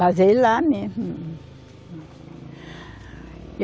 Casei lá mesmo.